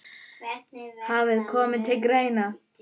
hafi komið til greina.